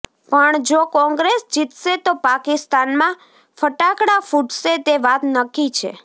પણ જો કોંગ્રેસ જીતશે તો પાકિસ્તાનમાં ફટાકડા ફૂટશે તે વાત નક્કી છે